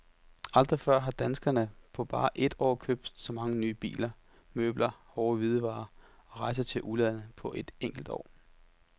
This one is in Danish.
Aldrig før har danskerne på bare et år købt så mange nye biler, møbler, hårde hvidevarer og rejser til udlandet på et enkelt år.